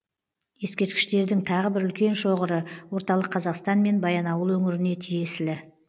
ескерткіштердің тағы бір үлкен шоғыры орталық қазақстан мен баянауыл өңіріне тиесілі